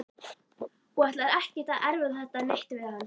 Og ætlar ekkert að erfa þetta neitt við hann.